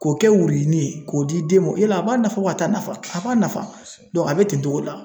K'o kɛ wuruyinin ye k'o di den ma o , yala a b'a nafa wa at'a nafa a b'a nafa a be ten togo la.